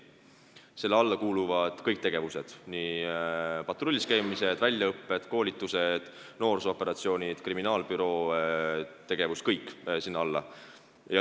Selle alla kuuluvad kõik tegevused: patrullis käimised, väljaõpped, koolitused, noorsoo-operatsioonid, kriminaalbüroo tegevus – kõik läheb sinna alla.